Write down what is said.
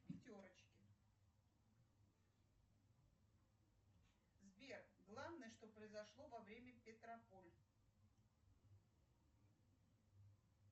в пятерочке сбер главное что поизошло во время петрополь